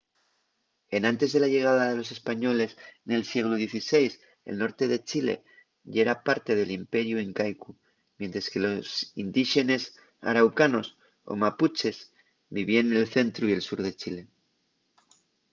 enantes de la llegada de los españoles nel sieglu xvi el norte de chile yera parte del imperiu incaicu mientres que los indíxenes araucanos o mapuches vivíen nel centru y el sur de chile